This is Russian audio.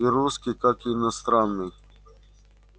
и русский как иностранный